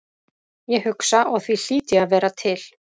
Ég hugsa og því hlýt ég að vera til.